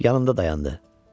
Yanında dayandı.